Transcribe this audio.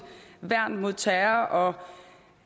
værn mod terror